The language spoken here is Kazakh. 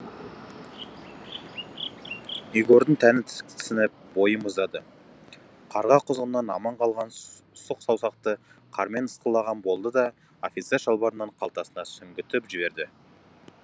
егордың тәні тіксініп бойы мұздады қарға құзғыннан аман қалған сұқ саусақты қармен ысқылаған болды да офицер шалбарының қалтасына сүңгітіп жіберді